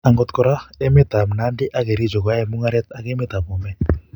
Akot kora, emet ab Nandi ak Kericho koyoei mungaret ak emet ab Bomet